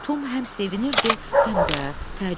Tom həm sevinirdi, həm də təəccüblənirdi.